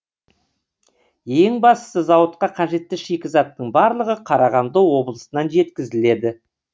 ең бастысы зауытқа қажетті шикізаттың барлығы қарағанды облысынан жеткізіледі